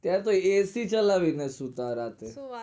ત્યાંતો ac ચાલવી ને સુતા રાતે હું વાત